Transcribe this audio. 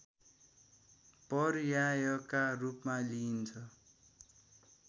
पर्यायका रूपमा लिइन्छ